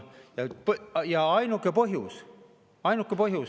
Ja ainuke põhjus – ainuke põhjus!